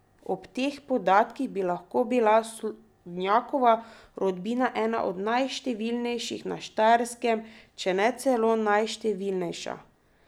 Ob teh podatkih bi lahko bila Slodnjakova rodbina ena od najštevilnejših na Štajerskem, če ne celo najštevilnejša.